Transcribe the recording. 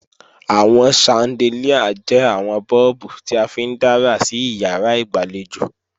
Àwọn ṣandelíà jẹ́ àwọn bọ́ọ̀bù tí a fi ń dára sí ìyàrá ìgbàlejò